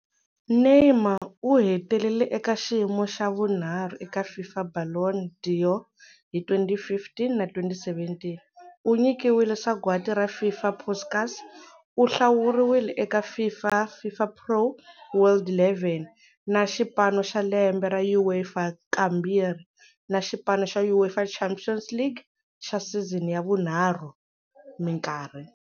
Neymar u hetelele eka xiyimo xa vunharhu eka FIFA Ballon d'Or hi 2015 na 2017, u nyikiwile Sagwadi ra FIFA Puskás, u hlawuriwile eka FIFA FIFPro World11 na Xipano xa Lembe xa UEFA kambirhi, na Xipano xa UEFA Champions League xa Season ya vunharhu minkarhi.